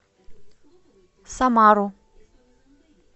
самару